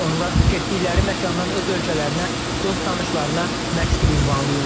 Onlar getdikləri məkandan öz ölkələrinə dost-tanışlarına məktub ünvanlayırlar.